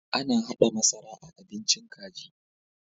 Ana haɗa masara a bincin kaji.